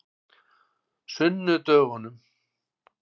sunnudögunum